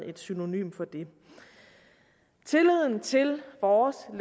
et synonym for det tilliden til vores